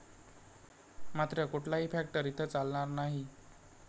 मात्र कुठलाही फॅक्टर इथं चालणार नाही.